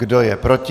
Kdo je proti?